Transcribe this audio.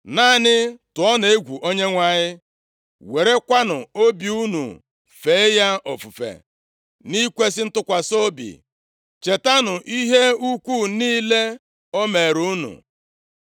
Naanị tụọnụ egwu Onyenwe anyị, werekwanụ obi unu fee ya ofufe nʼikwesị ntụkwasị obi; chetanụ ihe ukwuu niile o meere unu.